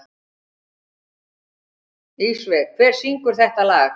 Ísveig, hver syngur þetta lag?